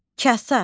Kasa.